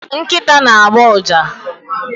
Nkịta na-agbọ ụja.